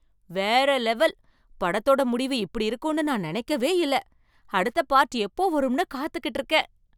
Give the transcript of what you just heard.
வேற லெவல்! படத்தோட முடிவு இப்படி இருக்கும்னு நான் நினைக்கவே இல்ல. அடுத்த பார்ட் எப்போ வரும்னு காத்துக்கிட்டு இருக்கேன்.